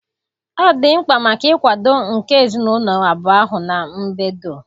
Ọ dị mkpa maka nkwado nke ezinụlọ abụọ ahụ na mbedo.